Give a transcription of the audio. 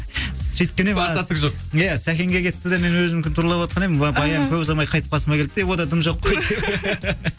сөйткен едім басқа түк жоқ иә сәкенге кетті де мен өзімдікін туралаватқан едім баян көп ұзамай қайтып қасыма келді де онда дым жоқ қой